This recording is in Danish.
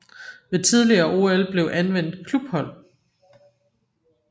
Ved tidligere OL blev anvendt klubhold